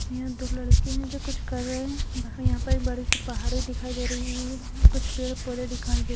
यहाँ दो लड़के है जो कुछ कर रहे हैं यहाँ पर एक बड़ी सी पहाड़ी दिखाई दे रही है कुछ पेड़ पौधे दिखाई दे --